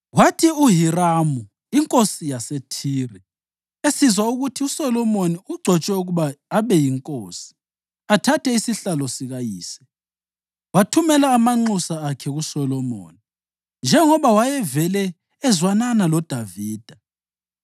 Kwathi uHiramu inkosi yaseThire esizwa ukuthi uSolomoni ugcotshwe ukuba abe yinkosi athathe isihlalo sikayise, wathumela amanxusa akhe kuSolomoni njengoba wayevele ezwanana loDavida.